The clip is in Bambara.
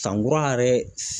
San kura yɛrɛ